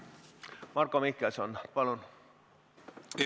Marko Mihkelson, palun!